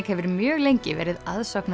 hefur mjög lengi verið